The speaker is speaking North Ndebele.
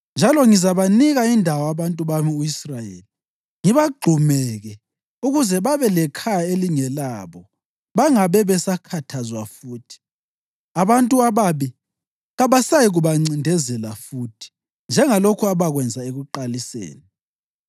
Njalo ngizabanika indawo abantu bami u-Israyeli ngibagxumeke ukuze babe lekhaya elingelabo bangabe besakhathazwa futhi. Abantu ababi kabasayikubancindezela futhi njengalokhu abakwenza ekuqaliseni,